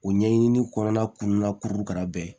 O ɲɛɲini kɔnɔna kun ka kuru kɛra bɛɛ ye